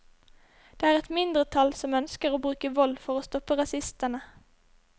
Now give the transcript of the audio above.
Det er et mindretall som ønsker å bruke vold for å stoppe rasistene.